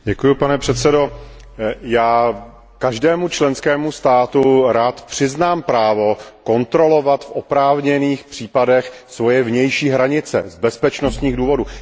Pane předsedající, já každému členskému státu rád přiznám právo kontrolovat v oprávněných případech svoje vnější hranice z bezpečnostních důvodů.